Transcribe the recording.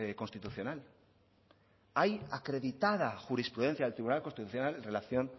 constitucional hay acreditada jurisprudencia del tribunal constitucional en relación